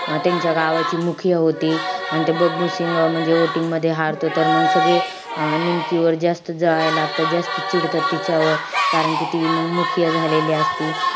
अं त्यांच्या गावाची होती. अन ते बबलू सिंग म्हणजे voting मध्ये हारतो. तर मंग सगळे निमकीवर जास्त जळायला लागतात. जास्त चिडतात तिच्यावर कारण कि ती मंग मुखिया झालेली असती.